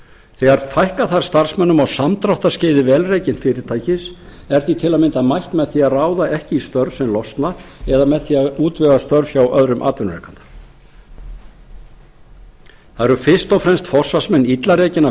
þegar fækka þarf starfsmönnum á samdráttarskeiði vel rekins fyrirtækis er því til að mynda mætt með því að ráða ekki í störf sem losna eða með því að útvega starfsmönnum störf hjá öðrum atvinnurekanda það eru fyrst og fremst forsvarsmenn illa rekinna